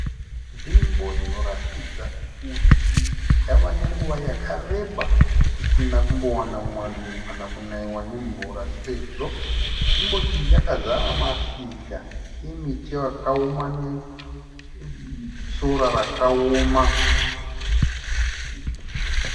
Nzvimbo inoratidza kuti yave nenguva yakareba risina kumbowana mwando kana kunaiwa nemvura sezvo nzvimbo iyi yakazara mashizha emiti yakaoma nesora rakaoma.